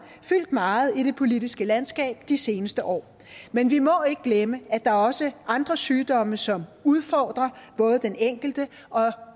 fyldt meget i det politiske landskab de seneste år men vi må ikke glemme at der også andre sygdomme som udfordrer både den enkelte og